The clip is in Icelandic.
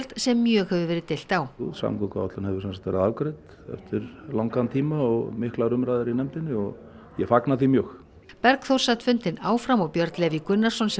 sem mjög hefur verið deilt á samgönguáætlun hefur sem sagt verið afgreidd eftir langan tíma og miklar umræður í nefndinni og ég fagna því mjög Bergþór sat fundinn áfram og Björn Leví Gunnarsson sem